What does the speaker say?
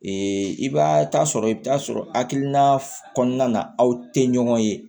i b'a ta sɔrɔ i bi taa sɔrɔ hakilina kɔnɔna na aw te ɲɔgɔn ye